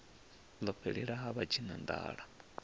ḽo fhelela ha vha tshinanḓala